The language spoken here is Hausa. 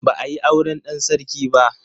Ba a yi auren dan sarki ba.